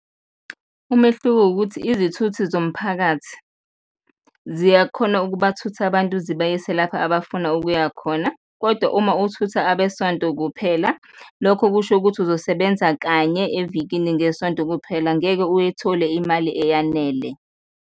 Umehluko ukuthi izithuthi zomphakathi ziyakhona ukubathutha abantu zibayise lapha abafuna ukuya khona kodwa uma uthutha abesonto kuphela, lokho kusho ukuthi uzosebenza kanye evikini ngesonto kuphela, ngeke uyithole imali eyanele.